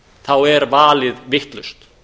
þá er valið vitlaust